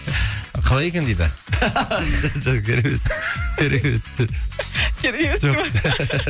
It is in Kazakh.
қалай екен дейді жоқ керек емес керек емес керек емес пе